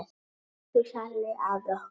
Elsku Hjalli afi okkar.